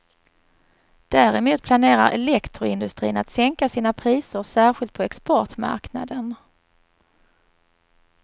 Däremot planerar elektroindustrin att sänka sina priser, särskilt på exportmarknaden.